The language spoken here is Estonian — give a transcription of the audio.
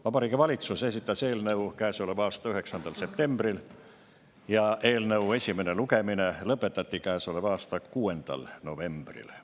Vabariigi Valitsus esitas eelnõu käesoleva aasta 9. septembril ja eelnõu esimene lugemine lõpetati käesoleva aasta 6. novembril.